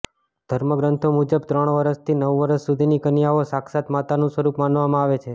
ધર્મગ્રંથો મુજબ ત્રણ વર્ષથી નવ વર્ષ સુધીની કન્યાઓ સાક્ષાત માતાનુ સ્વરૂપ માનવામાં આવે છે